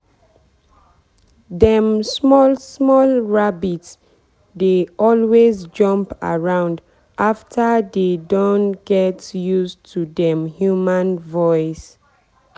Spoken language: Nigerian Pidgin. dem small small rabbit dey always jump around after dey don get use to dem human voice.